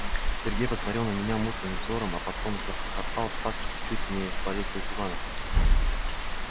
сергей посмотрел на меня мутным взором а потом захохотал так что чуть не свалился с дивана